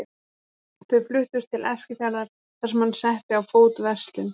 Þau fluttust til Eskifjarðar þar sem hann setti á fót verslun.